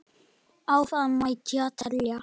Áfram mætti telja.